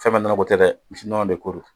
Fɛn bɛɛ nɔnɔ ko tɛ dɛ misi nɔnɔ de ko don